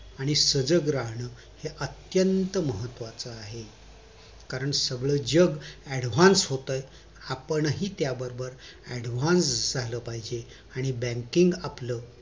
आणि सजग राहणं अत्यन्त महत्वाचं आहे कारण सगळं जग advance होतंय आपण हि त्या बरोबर advance झालं पाहिजे आणि banking आपलं